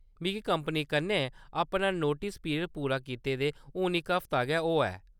मिगी कंपनी कन्नै अपना नोटस पीरियड पूरा कीते दे हुन इक हफ्ता गै होआ ऐ।